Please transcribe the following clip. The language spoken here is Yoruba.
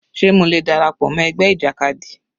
Sé mo lè dára pọ̀ mọ́ ẹgbẹ́ ìjàkadì?